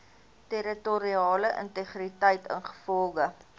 territoriale integriteit ingevolge